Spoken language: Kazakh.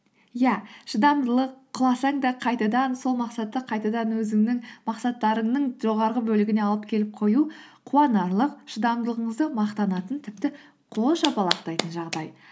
иә шыдамдылық құласаң да қайтадан сол мақсатты қайтадан өзіңнің мақсаттарынның жоғарғы бөлігіне алып келіп қою қуанарлық шыдамдылығыңызды мақтанатын тіпті қол шапалақтайтын жағдай